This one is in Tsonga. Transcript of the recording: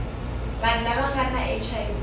vanhu lava nga na hiv